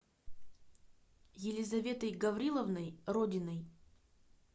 елизаветой гавриловной родиной